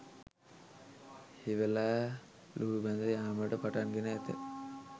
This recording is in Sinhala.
හිවලා ලූහුබැඳ යාමට පටන් ගෙන ඇත